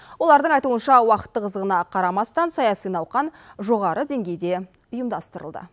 олардың айтуынша уақыт тығыздығына қарамастан саяси науқан жоғары деңгейде ұйымдастырылды